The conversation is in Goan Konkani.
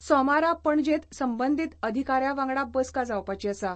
सोमारा पणजेंत संबंदीत अधिकाऱ्या वांगडा बसका जावपाची आसा.